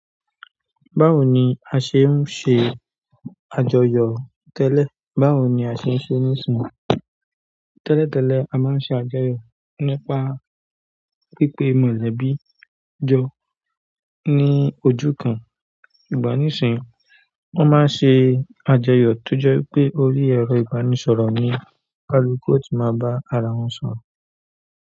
Báwo ni a ṣe ń ṣe àjọyọ̀ tẹ́lẹ̀? Báwo ni a ṣe ń ṣe nísinsìnyí? Tẹ́lẹ̀ tẹ́lẹ̀, a máa ń ṣe àjọyọ̀ nípa pípé mọ̀lẹ́bí jọ ní ojú kan. Ṣùgbọ́n nísìíyìí, wọ́n máa ń ṣe àjọyọ̀ tó jẹ́ wípé orí ẹ̀rọ ìbánisọ̀rọ̀ ni olúkúlùkù ó ti máa bá ara wọn sọ̀rọ̀.